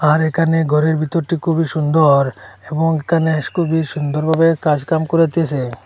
আর এখানে ঘরের ভিতরটি খুবই সুন্দর এবং এখানে খুবই সুন্দরভাবে কাজ কাম করিতেসে।